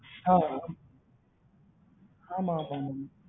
ஆஹ் ஆஹ் ஆமா ஆமா